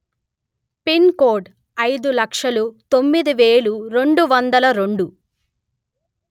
pin code అయిదు లక్షలు తొమ్మిది వెలు రెండు వందలు రెండు